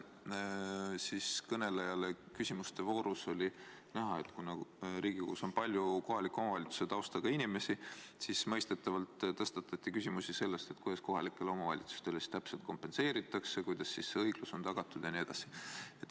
Eelmise kõneleja puhul oli küsimuste voorus näha, et kuna Riigikogus on palju kohaliku omavalitsuse taustaga inimesi, siis mõistetavalt tõstatati küsimusi, kuidas muudatus kohalikele omavalitsustele täpselt kompenseeritakse, kuidas õiglus on tagatud jne.